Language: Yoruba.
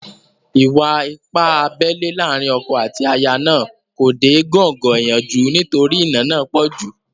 Ìwà-ipá abẹ́lẹ́ láàrin ọkọ àti aya náà kò dé góńgó ìyanjú nítorí ìnà náà pọ̀ jù